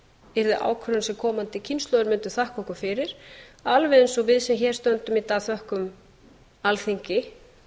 yrði ákvörðun sem komandi kynslóðir mundu þakka okkur fyrir alveg eins og við sem hér stöndum í dag þökkum alþingi